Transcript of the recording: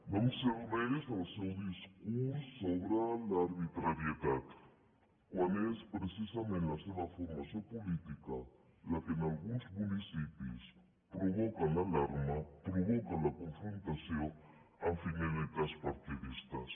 no em serveix el seu discurs sobre l’arbitrarietat quan és precisament la seva formació política la que en alguns municipis provoca l’alarma provoca la confrontació amb finalitats partidistes